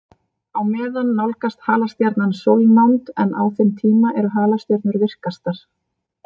Á meðan nálgast halastjarnan sólnánd, en á þeim tíma eru halastjörnur virkastar.